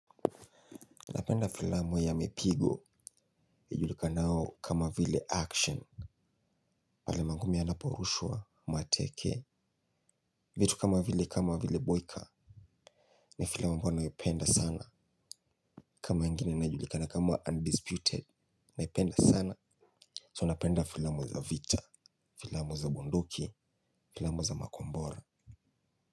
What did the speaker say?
Napenda filamu ya mipigo ijulikanao kama vile action. Pale mangumi yanaporushwa mateke. Vitu kama vile kama vile boyka ni filamu ambayo naipenda sana. Kama ingine inajulikana kama undisputed. Naipenda sana so napenda filamu za vita. Filamu za bunduki filamu za makombora.